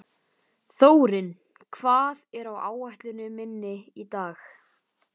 Þórinn, hvað er á áætluninni minni í dag?